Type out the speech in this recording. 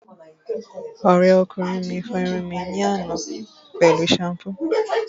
Ọ̀rẹ́kùnrin mi fọ irun mi ní àná pẹ̀lú ṣampú